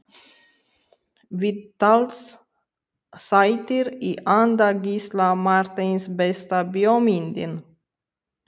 Viðtalsþættir í anda Gísla Marteins Besta bíómyndin?